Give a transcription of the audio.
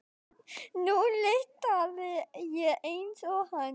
Nú lyktaði ég eins og hann.